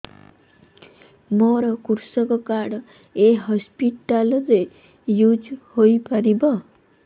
ମୋର କୃଷକ କାର୍ଡ ଏ ହସପିଟାଲ ରେ ୟୁଜ଼ ହୋଇପାରିବ